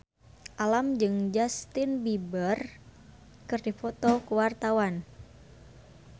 Alam jeung Justin Beiber keur dipoto ku wartawan